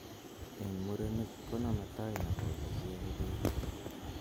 Eng murenik ko name tai nepo ole kiae peek